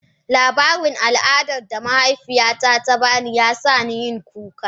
Labarin al'adar da mahaifiyata ta ba ni, ya sa na yi kuka.